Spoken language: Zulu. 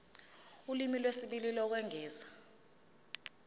ulimi lwesibili lokwengeza